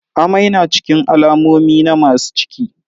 Amai na cikin alamomi na masu ciki